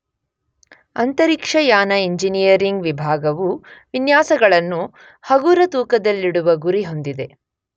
ಅಂತರಿಕ್ಷಯಾನ ಇಂಜಿನಿಯರಿಂಗ್ ವಿಭಾಗವು ವಿನ್ಯಾಸಗಳನ್ನು ಹಗುರತೂಕದಲ್ಲಿಡುವ ಗುರಿ ಹೊಂದಿದೆ.